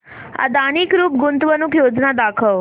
Adani group गुंतवणूक योजना दाखव